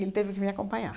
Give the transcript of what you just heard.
Ele teve que me acompanhar.